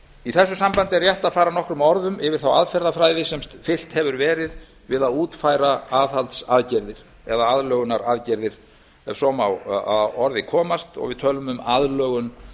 í þessu sambandi er rétt að fara nokkrum orðum um þá aðferðafræði sem fylgt hefur verið við að útfæra aðlögunaraðgerðir ef svo má að orði komast og við tölum um aðlögun